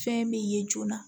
Fɛn bɛ ye joona